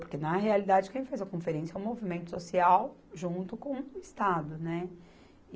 Porque, na realidade, quem faz a conferência é o movimento social junto com o Estado, né.